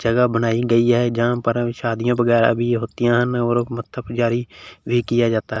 जगह बनाई गई है जहां पर अ शादियां वगैरा भी होती हैं मत्था पुजारी भी किया जाता है।